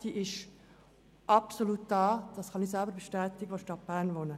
Diese sind absolut vorhanden, was ich bestätigen kann, da ich in der Stadt Bern wohne.